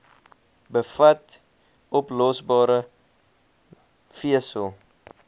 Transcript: bevat oplosbare vesel